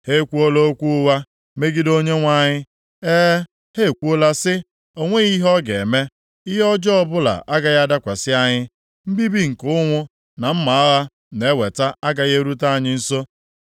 Ha ekwuola okwu ụgha megide Onyenwe anyị. E, ha ekwuola sị, “O nweghị ihe Ọ ga-eme! Ihe ọjọọ ọbụla agaghị adakwasị anyị; mbibi nke ụnwụ na mma agha na-eweta agaghị erute anyị nso.